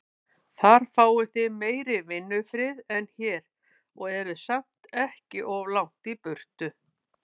Þar fáið þið meiri vinnufrið en hér, og eruð samt ekki of langt í burtu.